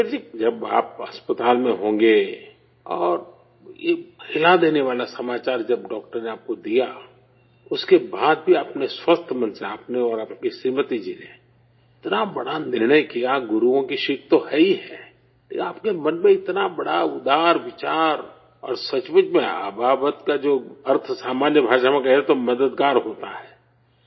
سکھبیر جی، جب آپ اسپتال میں ہوں گے اور یہ ہلا دینے والی خبر جب ڈاکٹر نے آپ کو دی، اس کے بعد بھی آپ نے صحت مند ذہن سے آپ نے اور آپ کی شریمتی جی نے اتنا بڑا فیصلہ کیا، گروؤں کی سیکھ تو ہے ہی ہے کہ آپ کے من میں اتنا بڑا عمدہ خیال اور واقعی میں ابابت کا جو معنی عام زبان میں کہیں تو مددگار ہوتا ہے